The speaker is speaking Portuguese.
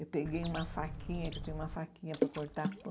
Eu peguei uma faquinha, que eu tinha uma faquinha para cortar pão.